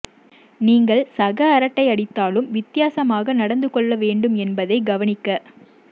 நீங்கள் சக அரட்டையடித்தலும் வித்தியாசமாக நடந்து கொள்ள வேண்டும் என்பதை கவனிக்க